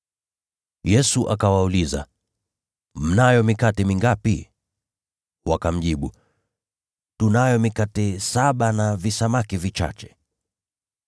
Yesu akawauliza, “Mnayo mikate mingapi?” Wakamjibu, “Tunayo mikate saba na visamaki vichache.”